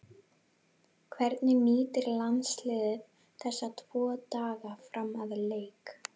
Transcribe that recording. Hvernig nýtir landsliðið þessa tvo daga fram að leik?